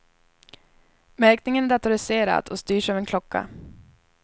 Märkningen är datoriserad och styrs av en klocka.